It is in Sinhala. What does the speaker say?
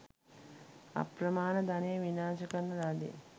අප්‍රමාණ ධනය විනාශ කරන ලදී.